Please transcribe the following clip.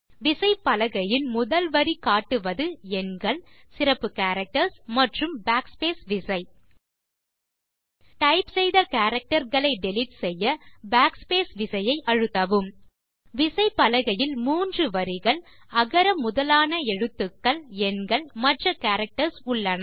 விசைப்பலகையின் முதல் வரி காட்டுவது எண்கள் சிறப்பு கேரக்டர்ஸ் மற்றும் Backspace விசை டைப் செய்த கேரக்டர் களை டிலீட் செய்ய Backspace விசையை அழுத்தவும் விசைப்பலகையில் மூன்று வரிகள் அகர முதலான எழுத்துக்கள் எண்கள் மற்ற கேரக்டர்ஸ் உள்ளன